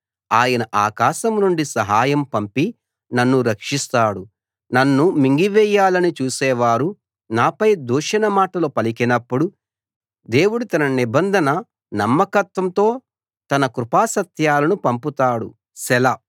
ఆయన ఆకాశం నుండి సహాయం పంపి నన్ను రక్షిస్తాడు నన్ను మింగివేయాలని చూసేవారు నాపై దూషణ మాటలు పలికినప్పుడు దేవుడు తన నిబంధన నమ్మకత్వంతో తన కృపాసత్యాలను పంపుతాడు సెలా